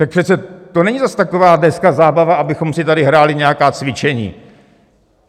Tak přece to není zas taková dneska zábava, abychom si tady hráli nějaká cvičení.